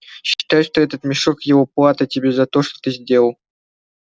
считай что этот мешок его плата тебе за то что ты сделал